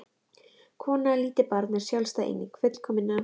Kona og lítið barn er sjálfstæð eining, fullkomin án karlmanns.